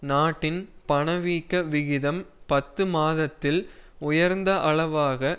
நாட்டின் பணவீக்க விகிதம் பத்து மாதத்தில் உயர்ந்த அளவாக